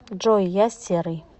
джой я серый